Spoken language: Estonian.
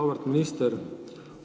Auväärt minister!